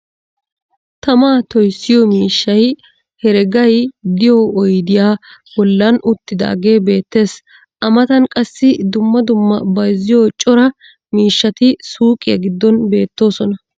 tamaa toyssiyo miishshay heregay diyo oyddiya bolan uttidaage beetees a matan qassi dumma dumma bayzziyo cora mishshati suuqiya giddon beetoosona.